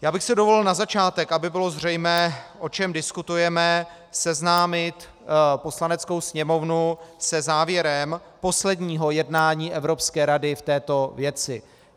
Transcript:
Já bych si dovolil na začátek, aby bylo zřejmé, o čem diskutujeme, seznámit Poslaneckou sněmovnu se závěrem posledního jednání Evropské rady v této věci.